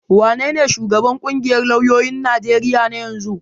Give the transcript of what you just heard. Wanene shugaban ƙungiyar lauyoyin Najeriya na yanzu?